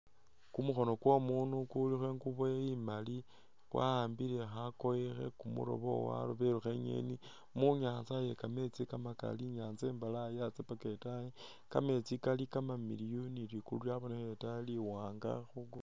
Ku mukhono kwo umundu kulikho ingubo imali kwa'ambile khakoye khe kumulobo walobelekho inyeni mu nyatsa iye kametsi kamakali inyatsa imbalayi yatsya paka itaayi kametsi kali kamamiliyu ni li kulu lyabonekheleye itaayi li wanga.